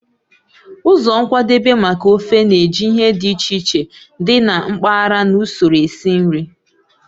Ụzọ nkwadebe maka ofe na-eji ihe dị iche iche dị na mpaghara na usoro esi nri.